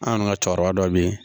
An kɔni ka cɛkɔrɔba dɔ bɛ yen